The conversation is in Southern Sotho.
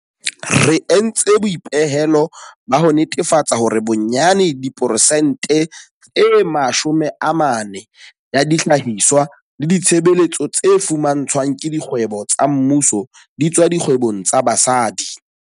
Re entse boipehelo ba ho netefatsa hore bonyane diperesente e 40 ya dihlahiswa le ditshebeletso tse fumantshwang ke dikgwebo tsa mmuso di tswa dikgwebong tsa basadi.